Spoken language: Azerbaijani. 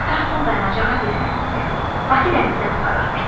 Qatar son dayanacağa dirənən kimi, Bakı dənizdə qurtarır, bitir.